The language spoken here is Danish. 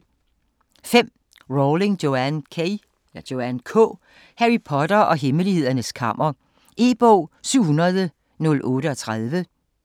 Rowling, Joanne K.: Harry Potter og Hemmelighedernes Kammer E-bog 700038